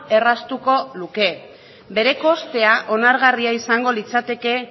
erraztuko luke bere kostea onargarria izango litzateke